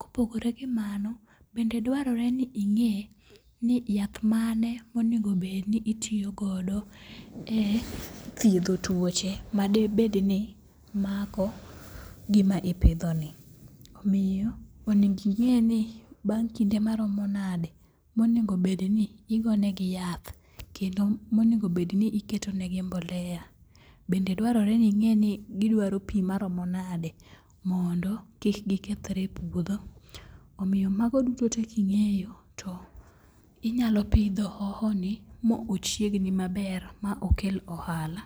kopogore gi mano bende dwaroreni inge' ni yath mane ma onigo bed ni itiyo godo e thietho tuoche ma debed ni mako gima ipithoni, omiyo onigo inge'ni bang' kinde maromo nade monigobed ni igonegi yath kendo monigo bed ni iketonegi mbolea bende dwarore ni inge'ni gidwaro pi maromo nade mondo kik gikethre e puotho, omiyo mago dutote ka ingi'yo to inyalo pitho ohohoni ma ochiegni maber ma okelni ohala.